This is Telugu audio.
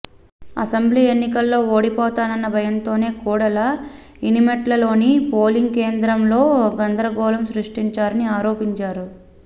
అసెంబ్లీ ఎన్నికల్లో ఓడిపోతానన్న భయంతోనే కోడెల ఇనిమెట్లలోని పోలింగ్ కేంద్రంలో గందరగోళం సృష్టించారని ఆరోపించారు